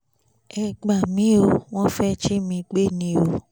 ẹ gbà mí o wọ́n fẹ́ jí mi gbé ni o